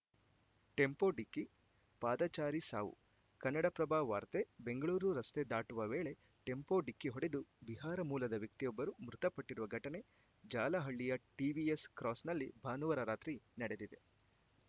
tempo ಡಿಕ್ಕಿ ಪಾದಚಾರಿ ಸಾವು ಕನ್ನಡಪ್ರಭ ವಾರ್ತೆ ಬೆಂಗಳೂರು ರಸ್ತೆ ದಾಟುವ ವೇಳೆ ಟೆಂಪೋ ಡಿಕ್ಕಿ ಹೊಡೆದು ಬಿಹಾರ ಮೂಲದ ವ್ಯಕ್ತಿಯೊಬ್ಬರು ಮೃತಪಟ್ಟಿರುವ ಘಟನೆ ಜಾಲಹಳ್ಳಿಯ ಟಿವಿಎಸ್‌ ಕ್ರಾಸ್‌ನಲ್ಲಿ ಭಾನುವಾರ ರಾತ್ರಿ ನಡೆದಿದೆ